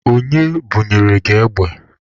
Onye bunyere gị egbe?